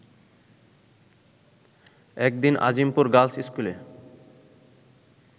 এক দিন আজিমপুর গার্লস স্কুলে